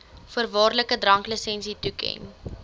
voorwaardelike dranklisensie toeken